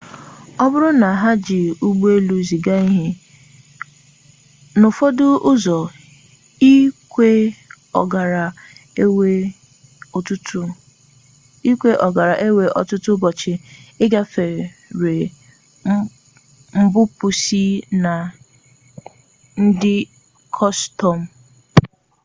ọ bụrụ na ha jị ụgbọelu ziga ihe n'ụfọdụ ụzọ ikekwe ọ gaara ewe ọtụtụ ụbọchị igafere mbupusi na ndị kọstom